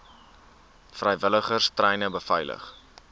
vrywilligers treine beveilig